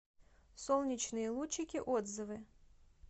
солнечные лучики отзывы